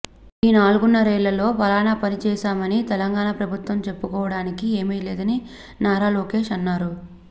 ఈ నాలుగున్నరేళ్లలో పలానా పని చేశామని తెలంగాణ ప్రభుత్వం చెప్పుకోవడానికి ఏమీ లేదని నారా లోకేష్ అన్నారు